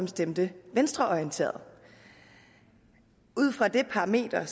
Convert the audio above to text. stemte venstreorienteret ud fra det parameter